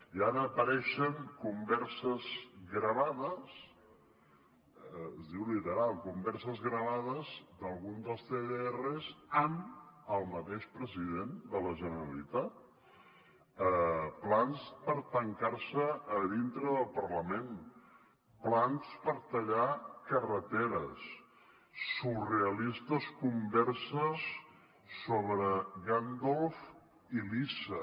i ara apareixen converses gravades es diu literalment converses gravades d’algun dels cdrs amb el mateix president de la generalitat plans per tancar se a dintre del parlament plans per tallar carreteres surrealistes converses sobre gandalf i lisa